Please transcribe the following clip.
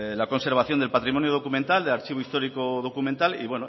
la conservación del patrimonio documental del archivo histórico documental y